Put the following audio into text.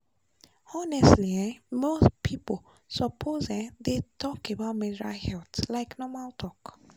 honestly um more people suppose um dey talk about menstrual health like normal talk.